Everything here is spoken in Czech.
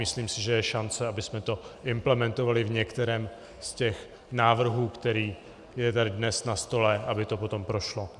Myslím si, že je šance, abychom to implementovali v některém z těch návrhů, který je tady dnes na stole, aby to potom prošlo.